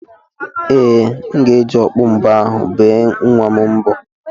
Ee, m ga-eji okpu mbo ahụ bee nwa m mbo.